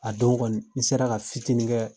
A don kɔni, n sera ka fitinin kɛɛ